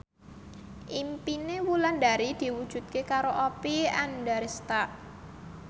impine Wulandari diwujudke karo Oppie Andaresta